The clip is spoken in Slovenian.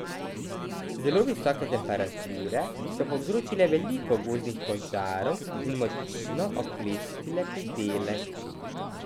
Zelo visoke temperature so povzročile veliko gozdnih požarov in močno oklestile pridelek.